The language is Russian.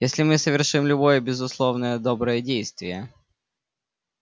если мы совершим любое безусловное доброе действие